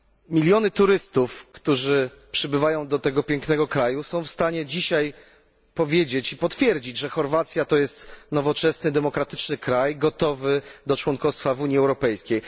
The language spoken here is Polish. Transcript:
Miliony turystów, którzy przybywają do tego pięknego kraju, są w stanie dzisiaj powiedzieć i potwierdzić, że Chorwacja to jest nowoczesny i demokratyczny kraj gotowy do członkostwa w Unii Europejskiej.